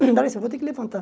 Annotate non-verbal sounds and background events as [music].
[unintelligible] Vou ter que levantar.